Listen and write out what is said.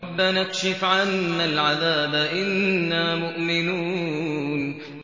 رَّبَّنَا اكْشِفْ عَنَّا الْعَذَابَ إِنَّا مُؤْمِنُونَ